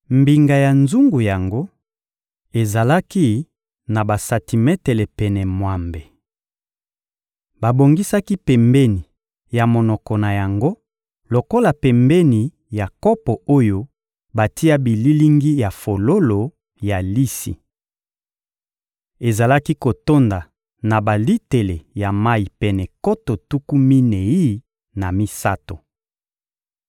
Mbinga ya nzungu yango ezalaki na basantimetele pene mwambe. Babongisaki pembeni ya monoko na yango lokola pembeni ya kopo oyo batia bililingi ya fololo ya lisi. Ezalaki kotonda na balitele ya mayi pene nkoto tuku minei na misato.